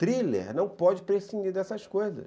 Thriller não pode prescindir dessas coisas.